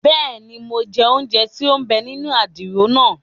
Bẹẹni, Mo jẹ ounjẹ tí o n bè nínú àdìrò naa